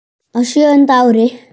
Á sjöunda ári